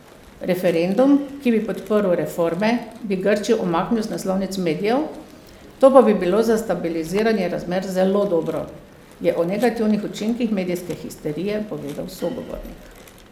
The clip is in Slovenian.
Referendum, ki bi podprl reforme, bi Grčijo umaknil z naslovnic medijev, to pa bi bilo za stabiliziranje razmer zelo dobro, je o negativnih učinkih medijske histerije povedal sogovornik.